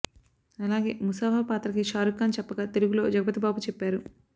అలాగే ముసాఫా పాత్ర కి షారుక్ ఖాన్ చెప్పగా తెలుగులో జగపతిబాబు చెప్పారు